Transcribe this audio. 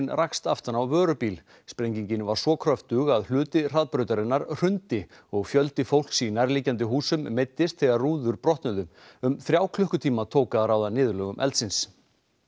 rakst aftan á vörubíl sprengingin var svo kröftug að hluti hraðbrautarinnar hrundi og fjöldi fólks í nærliggjandi húsum meiddist þegar rúður brotnuðu um þrjá klukkutíma tók að ráða niðurlögum eldsins